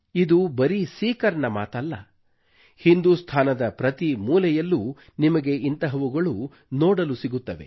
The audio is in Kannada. ಇದು ಬರೀ ಸೀಕರ್ ನ ಮಾತಲ್ಲ ಹಿಂದೂಸ್ಥಾನದ ಪ್ರತಿ ಮೂಲೆಯಲ್ಲೂ ನಿಮಗೆ ಇಂತಹವುಗಳು ನೋಡಲು ಸಿಗುತ್ತದೆ